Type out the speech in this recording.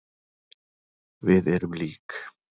Við erum lík.